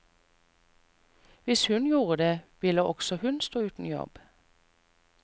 Hvis hun gjorde det, ville også hun stå uten jobb.